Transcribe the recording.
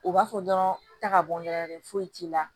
U b'a fɔ dɔrɔn ta ka bɔ dɔrɔn foyi t'i la